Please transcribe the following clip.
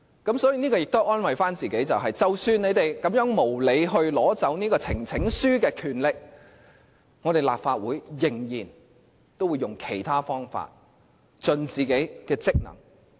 因此，我們可以安慰自己，即使他們無理地取走提呈請書的權力，立法會仍然會以其他方法盡力履行自己的職能。